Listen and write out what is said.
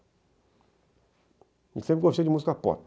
Eu sempre gostei de música pop.